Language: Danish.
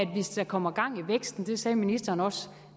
hvis der kommer gang i væksten det sagde ministeren også